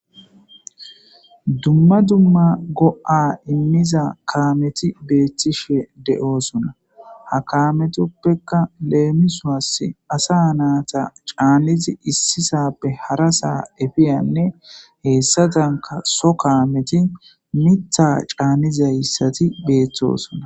Dumma dumma go7a immiza kaameti beettishe de7osona ha kaametoppeka leemisoas asa naata caannizi issisappe hara saa efiyanne heessatanka so kaameti mitha caannizayssati beeththosona.